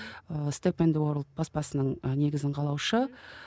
ы степ енд уорлд баспасының ы негізін қалаушы